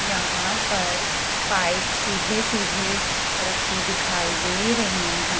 यहां पर पाइप सीधे सीधे रखे दिखाई दे रहीं हैं।